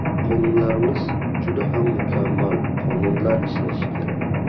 Qonunlarimiz juda ham mukammal qonunlar ishlashi kerak.